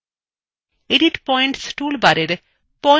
edit points tool bar points icon click করুন